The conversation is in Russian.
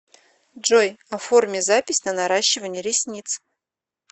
джой оформи запись на наращивание ресниц